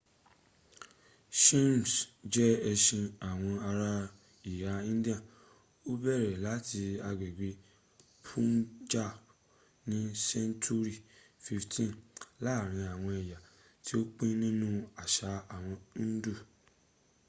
sikhism je esin awon ara iha india o bere lati agbegbe punjab ni senturi 15th laarin awon eya ti o pin ninu asa awon hindu